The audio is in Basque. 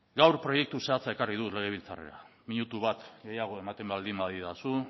gaur proiektu zehatza ekarri dut legebiltzarrera minutu bat gehiago ematen baldin badidazu